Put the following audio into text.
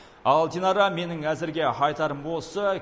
ал динара менің әзірге айтарым осы